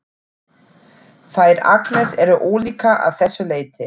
Þær Agnes eru ólíkar að þessu leyti.